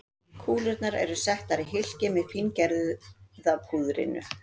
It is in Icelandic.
Kúlurnar eru settar í hylkið með fíngerða púðrinu.